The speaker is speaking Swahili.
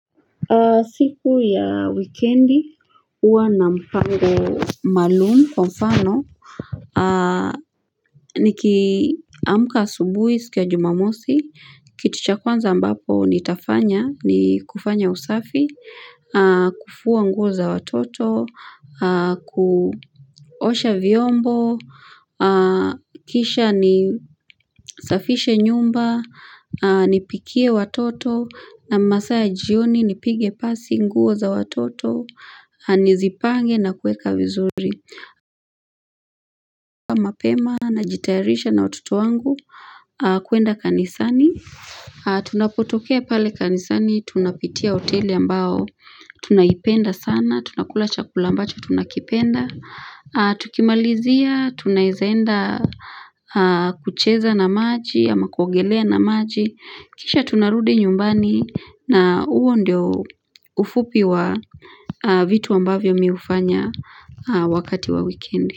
Siku ya wikendi, uwa na mpango maalumu kwa mfano. Niki amka asubuhi siku ya jumamosi, kitu cha kwanza ambapo ni tafanya, ni kufanya usafi, kufua nguo za watoto, kuosha vyombo, kisha ni safishe nyumba, Nipikie watoto na masaa ya jioni nipige pasi nguo za watoto Nizipange na kueka vizuri Kwa mapema na jitarisha na watoto wangu kuenda kanisani Tunapotokea pale kanisani Tunapitia oteli ambao Tunaipenda sana Tunakula chakula ambacho tunakipenda Tukimalizia Tunaezaenda kucheza na maji ama kuogelea na maji Kisha tunarudi nyumbani na uo ndio ufupi wa vitu ambavyo miufanya wakati wa weekendi.